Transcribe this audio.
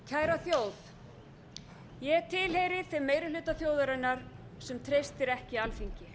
kæra þjóð ég tilheyri þeim meiri hluta þjóðarinnar sem treystir ekki alþingi